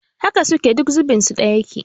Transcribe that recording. Haka suke, duk zubin su ɗaya yake